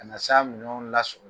Ka na s' a minɛw la